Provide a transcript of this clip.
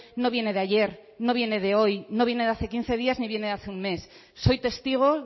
no viene de ayer no viene de hoy no viene de hace quince días ni viene de hace un mes soy testigo